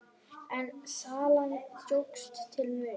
En salan jókst til muna.